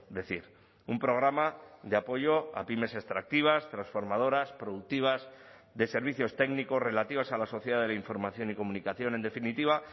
decir un programa de apoyo a pymes extractivas transformadoras productivas de servicios técnicos relativas a la sociedad de la información y comunicación en definitiva